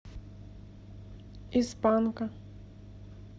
из панка